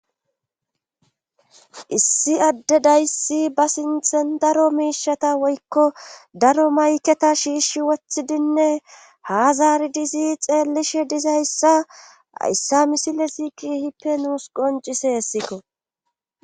issi adde dayssi ba sinthen daro miishata woykko daro mayketa shiishi wothidinne hazaari dizi xeellishe dizayssa hayssa misile ziiki hippe nuus qoncise hessikko